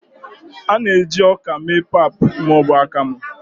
a na-eji ọka mee pap ma ọ bụ akamu